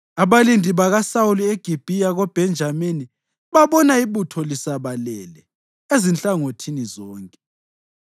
Abalindi bakaSawuli eGibhiya koBhenjamini babona ibutho lisabalele ezinhlangothini zonke.